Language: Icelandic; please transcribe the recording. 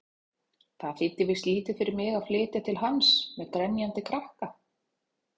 Það þýddi víst lítið fyrir mig að flytja til hans-með grenjandi krakka!